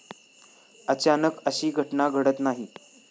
अचानक अशी घटना घडत नाही.